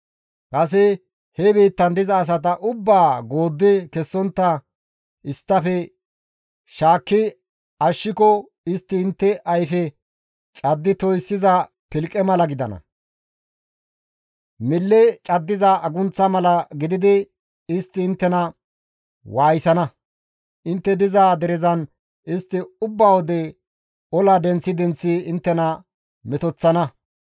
«Kase he biittan diza asata ubbaa gooddi kessontta isttafe shaakki ashshiko istti intte ayfe caddi toyssiza pilqe mala gidana; mille caddiza agunththa mala gididi istti inttena waayisana; intte diza derezan istti ubba wode ola denththi denththi inttena metoththana.